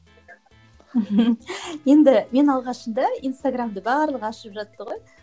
енді мен алғашында инстаграмды барлығы ашып жатты ғой